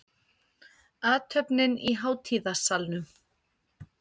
Athöfnin í hátíðasalnum